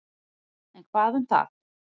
En hvað um það.